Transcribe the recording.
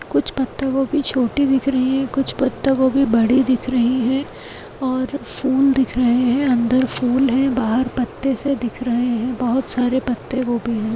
कुछ पत्ता गोभी छोटी दिख रही है कुछ पत्ता गोभी बड़ी दिख रही है और फूल दिख रहे है अंदर फूल है बाहर पत्ते से दिख रहे है बहोत सारे पत्ते गोभी है।